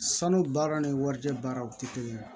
Sanu baaraw ni warijɛ baaraw tɛ kelen ye